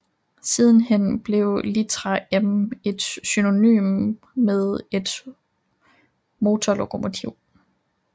Sidenhen blev litra M et synonym med et motorlokomotiv